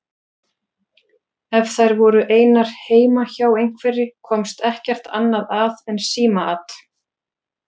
Ef þær voru einar heima hjá einhverri komst ekkert annað að en símaat.